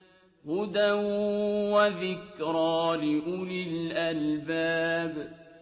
هُدًى وَذِكْرَىٰ لِأُولِي الْأَلْبَابِ